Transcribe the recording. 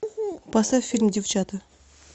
поставь фильм девчата